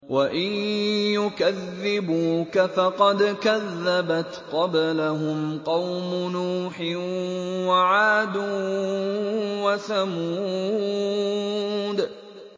وَإِن يُكَذِّبُوكَ فَقَدْ كَذَّبَتْ قَبْلَهُمْ قَوْمُ نُوحٍ وَعَادٌ وَثَمُودُ